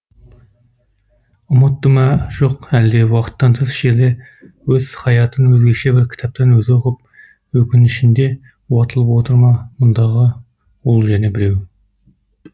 ұмытты ма жоқ әлде уақыттан тыс жерде өз хаятын өзгеше бір кітаптан өзі оқып өкінішінде уатылып отыр ма мұндағы ол және біреу